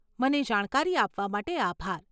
મને જાણકારી આપવા માટે આભાર.